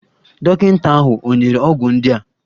Dọkịta ahụ ò nyere ọgwụ ndị a?